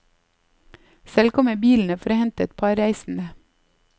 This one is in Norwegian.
Selv kom jeg bilende for å hente et par reisende.